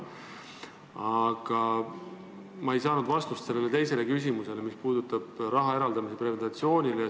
Aga ma ei saanud vastust teisele küsimusele, mis puudutab raha eraldamist preventsioonile.